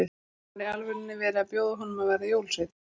Var í alvörunni verið að bjóða honum að verða jólasveinn?